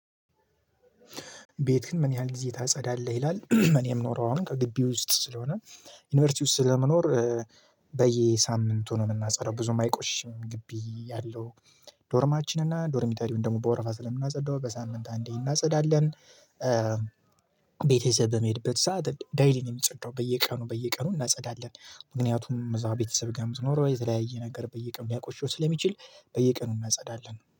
ቤትክን ምን ያህል ጊዜ ታጸዳለህ ይላል? እኔ ምኖረው አሁን ከግቢ ውስጥ ስለሆነ ዩኒቨርሲቲ ውስጥ ስለመኖር በየሳምንቱ ነው የምናጸዳው ብዙም አይቆሽም ግቢ ያለው ዶርማችን እና ዶርሚተሪውን ደግሞ በወረፋ ስለምናጸዳው በሳምንት አንዴ እናጸዳለን። ቤተሰብ በምሄድበት ሰዓት ደይሊ ነው የሚጸዳው በየቀኑ በየቀኑ እናጸዳለን። ምክንያቱም እዛ ቤተሰብ ጋር የምትኖረው የተለያየ ነገር በየቀኑ ሊያቆሽው ስለሚችል በየቀኑ እናጸዳለን